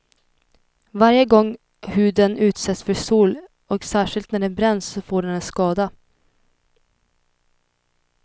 Varje gång huden utsätts för sol och särskilt när den bränns, så får den en skada.